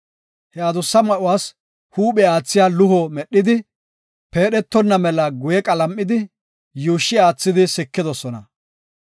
He adussa ma7uwas huuphe aathiya luho medhidi, peedhetonna mela guye qalam7idi, yuushshi aathidi sikidosona.